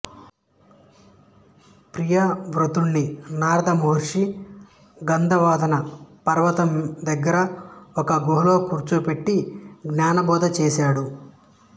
ప్రియవ్రతుడుని నారద మహర్షి గంధమాదన పర్వతం దగ్గర ఒక గుహలో కూర్చోబెట్టి జ్ఞానబోధ చేసాడు